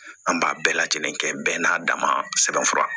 An b'a bɛɛ lajɛlen kɛ bɛɛ n'a dama sɛbɛn fura